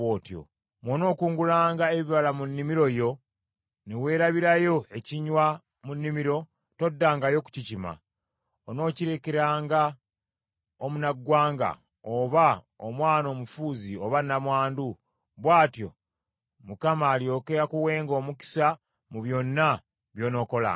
Bw’onookungulanga ebibala mu nnimiro yo ne weerabirayo ekinywa mu nnimiro, toddangayo kukikima. Onookirekeranga omunnaggwanga oba omwana omufuuzi oba nnamwandu; bw’atyo Mukama alyoke akuwenga omukisa mu byonna by’onookolanga.